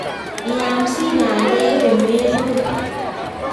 Iyamsi bandek komebor.